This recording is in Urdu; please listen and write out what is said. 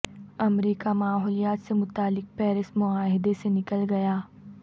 امریکہ ماحولیات سے متعلق پیرس معاہدے سے نکل گیا